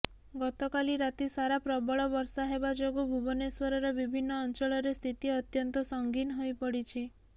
ଗତକାଲି ରାତି ସାରା ପ୍ରବଳ ବର୍ଷା ହେବା ଯୋଗୁ ଭୁବନେଶ୍ୱରର ବିଭିନ୍ନ ଅଞ୍ଚଳରେ ସ୍ଥିତି ଅତ୍ୟନ୍ତ ସଙ୍ଗୀନ ହୋଇପଡ଼ିଛି